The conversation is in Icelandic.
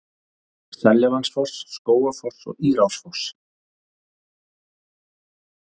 Seljalandsfoss, Skógafoss og Írárfoss.